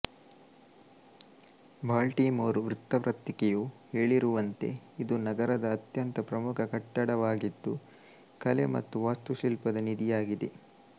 Baltimore ವೃತ್ತಪತ್ರಿಕೆಯು ಹೇಳಿರುವಂತೆ ಇದು ನಗರದ ಅತ್ಯಂತ ಪ್ರಮುಖ ಕಟ್ಟಡವಾಗಿದ್ದು ಕಲೆ ಮತ್ತು ವಾಸ್ತುಶಿಲ್ಪದ ನಿಧಿಯಾಗಿದೆ